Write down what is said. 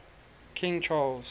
king charles